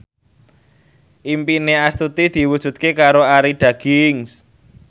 impine Astuti diwujudke karo Arie Daginks